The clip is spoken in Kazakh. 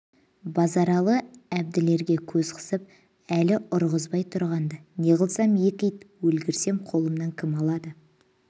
базаралы әбділерге көз қысып әлі үрғызбай тұрған-ды неғылсам екі ит өлгірсем қолымнан кім алады